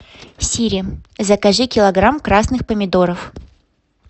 сири закажи килограмм красных помидоров